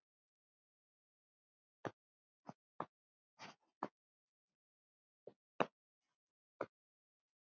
En sjáðu nú til!